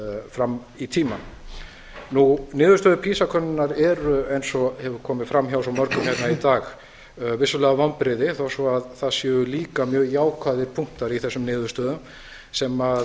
fram í tímann niðurstöður pisa könnunar eru eins og hefur komið áfram hjá svo mörgum hérna í dag vissulega vonbrigði þó svo að það séu líka mjög jákvæðir punktar í þessum niðurstöðum sem